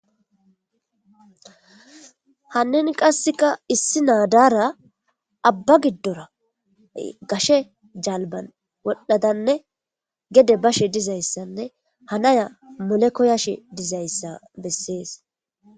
hanin qasseka issi naadaara abba giddora gashe jalban wodhdhadanne gede bashe dizayssanne hanaya mole koyashe dizayssa bessees